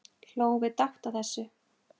Hlógum við dátt að þessu.